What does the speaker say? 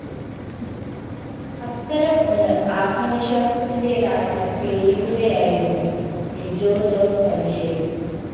അത്തരം ഒന്ന് ആത്മവിശ്വാസത്തിന്റേതാണെന്ന് തെളിയിക്കുകയായിരുന്നു ലിജോ ജോസ് പല്ലിശേരി